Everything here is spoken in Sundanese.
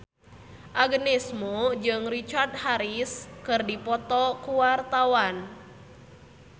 Agnes Mo jeung Richard Harris keur dipoto ku wartawan